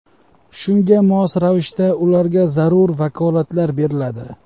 Shunga mos ravishda ularga zarur vakolatlar beriladi.